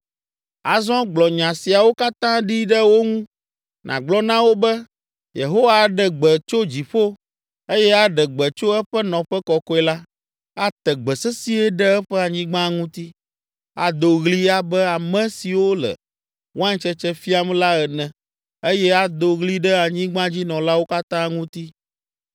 “Azɔ gblɔ nya siawo katã ɖi ɖe wo ŋu, nàgblɔ na wo be, “Yehowa aɖe gbe tso dziƒo eye aɖe gbe tso eƒe nɔƒe kɔkɔe la. Ate gbe sesĩe ɖe eƒe anyigba ŋuti. Ado ɣli abe ame siwo le waintsetse fiam la ene eye ado ɣli ɖe anyigbadzinɔlawo katã ŋuti.